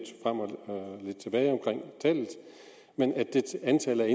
frem og tilbage men antallet er